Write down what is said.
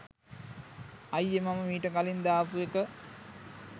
අයියේ මම මීට කලින් දාපු එක